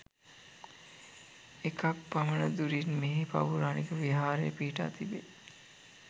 එකක් පමණ දුරින් මේ පෞරාණික විහාරය පිහිටා තිබේ